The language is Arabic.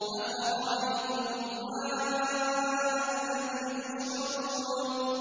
أَفَرَأَيْتُمُ الْمَاءَ الَّذِي تَشْرَبُونَ